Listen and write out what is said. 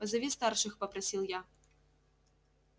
позови старших попросил я